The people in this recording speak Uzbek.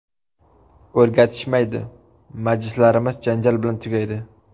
O‘rgatishmaydi, majlislarimiz janjal bilan tugaydi.